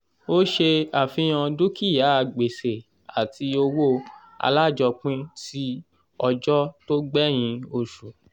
ó ṣe àfihàn dúkìá gbèsè àti owó alájọpín tí ọjọ́ tó gbẹ̀yìn oṣù.